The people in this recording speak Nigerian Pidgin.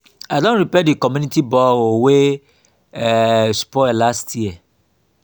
i don repair di community borehole wey um spoil last year.